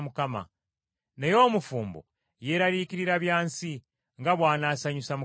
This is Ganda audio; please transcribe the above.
Naye omufumbo yeeraliikirira bya nsi, nga bw’anaasanyusa mukazi we;